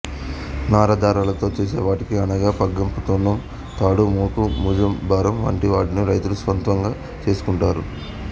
నార దారాలతో చేసే వటికి అనగా పగ్గం తొండంతాడు మోకు మూజంబరం వంటి వాటిని రైతులు స్వంతంగా చేసుకుంటారు